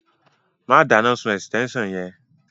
Má dáná sun ẹ̀sítẹ́nsàn yẹn